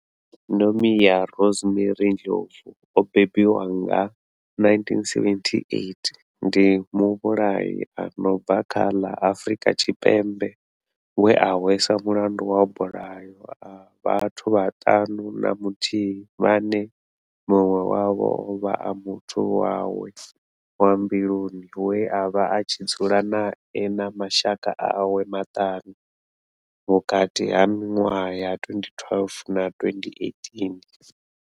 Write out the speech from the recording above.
Nomia Rosemary Ndlovu o bebiwaho nga, 1978, ndi muvhulahi a no bva kha ḽa Afrika Tshipembe we a hweswa mulandu wa mabulayo a vhathu vhaṱanu na muthihi vhane munwe wavho ovha a muthu wawe wa mbiluni we avha a tshi dzula nae na mashaka awe maṱanu, vhukati ha minwaha ya 2012 na 2018.